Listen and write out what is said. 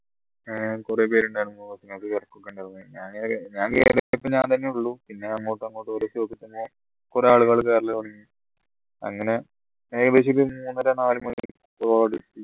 ഏർ കുറെ പേരുണ്ടായിരുന്നു ഞാൻ ഞാൻ കേറിയപ്പോ ഞാൻ തന്നെ ഉള്ളൂ പിന്നെ അങ്ങോട്ട് അങ്ങോട്ട് ഓരോ stop എത്തുമ്പോ കുറെ ആളുകൾ കേറൽ അങ്ങനെ ഏകദേശം മൂന്നര നാലു മണി